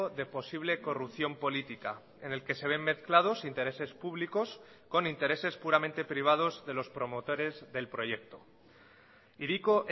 de posible corrupción política en el que se ven mezclados intereses públicos con intereses puramente privados de los promotores del proyecto hiriko